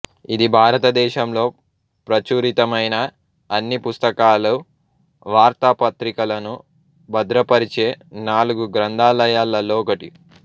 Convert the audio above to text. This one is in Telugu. ఇది భారత దేశంలో ప్రచురితమైన అన్ని పుస్తకాలు వార్తా పత్రికలను భద్రపరిచే నాలుగు గ్రంథాలయాలలో ఒకటి